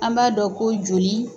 An m'a dɔn ko joli